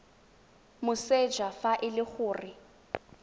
moseja fa e le gore